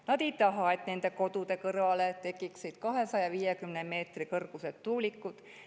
Nad ei taha, et nende kodude kõrvale tekiksid 250 meetri kõrgused tuulikud.